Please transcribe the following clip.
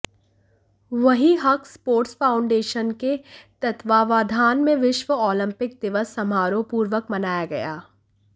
वहीं Haq sports foundation के तत्वावधान में विश्व ओलंपिक दिवस समारोह पूर्वक मनाया गया